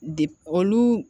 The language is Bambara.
De olu